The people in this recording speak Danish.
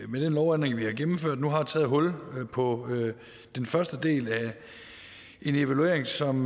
med den lovændring vi har gennemført nu har taget hul på den første del af en evaluering som